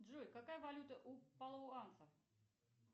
джой какая валюта у палуанцев